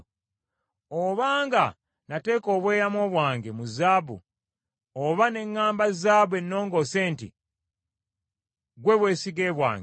“Obanga nateeka obweyamo bwange mu zaabu oba ne ŋŋamba zaabu ennongoose nti, ‘Ggwe bwesige bwange;’